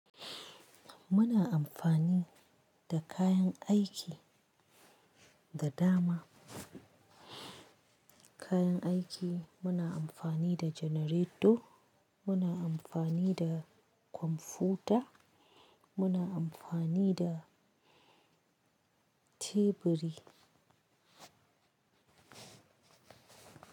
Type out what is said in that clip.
Muna amfani da kayan aiki da dama. Kayan aiki muna amfani da janareto, muna amfani da kwamfuta, muna amfani da teburi.